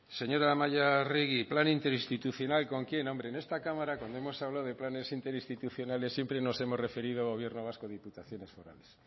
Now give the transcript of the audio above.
señora amaia arregi plan interinstitucional con quién hombre en esta cámara cuando hemos hablado de planes interinstitucionales siempre nos hemos referido a gobierno vasco o diputaciones forales